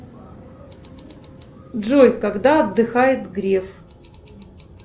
джой когда отдыхает греф